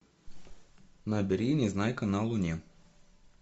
набери незнайка на луне